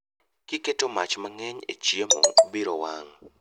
Kiketo mach mang'eny e chiemo biro wang'